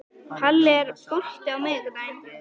Palli, er bolti á miðvikudaginn?